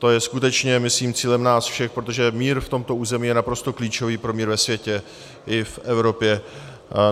To je skutečně, myslím, cílem nás všech, protože mír v tomto území je naprosto klíčový pro mír ve světě i v Evropě.